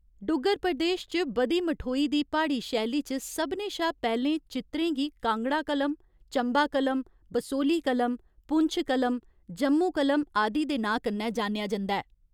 डुग्गर प्रदेश च बधी मठोई दी प्हाड़ी शैली च सभनें शा पैह्‌लें चित्रें गी कांगड़ा कलम, चंबा कलम, बसोहली कलम, पुंछ कलम, जम्मू कलम आदि दे नांऽ कन्नै जानेआ जंदा ऐ।